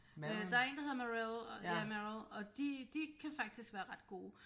Øh der er en der hedder Merrel ja Merrel og de de kan faktisk være ret gode